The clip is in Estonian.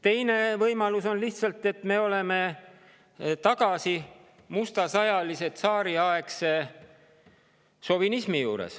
Teine võimalus on, et me oleme tagasi mustasajalise, tsaariaegse šovinismi juurde.